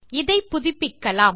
இதை புதிப்பிக்கலாம்